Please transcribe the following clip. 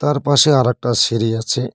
তার পাশে আরেকটা সিড়ি আছে।